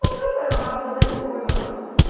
Bateu o pé na mata, umas dez e pouca da noite.